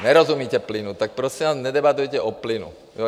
Nerozumíte plynu, tak prosím vás nedebatujte o plynu.